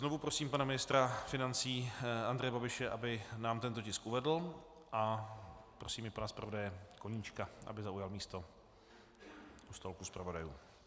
Znovu prosím pana ministra financí Andreje Babiše, aby nám tento tisk uvedl, a prosím i pana zpravodaje Koníčka, aby zaujal místo u stolku zpravodajů.